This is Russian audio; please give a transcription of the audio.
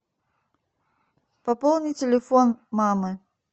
пополни телефон мамы